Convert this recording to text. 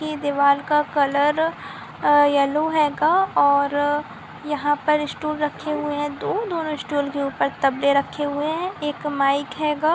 ये दीवार का कलर अ यलो हेगा और यहाँ पर स्टूल रखे हुए है दो दोनों स्टूल के ऊपर तब्ले रखे हुए दो एक माइक हेगा।